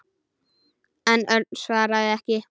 En Örn svaraði ekki.